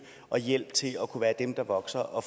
og hjælp til at kunne være dem der vokser og